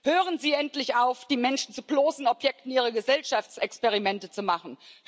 Hören Sie endlich auf, die Menschen zu bloßen Objekten ihre Gesellschaftsexperimente zu machen.